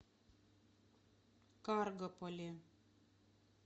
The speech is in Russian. каргополе